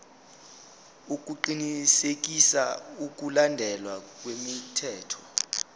ukuqinisekisa ukulandelwa kwemithetho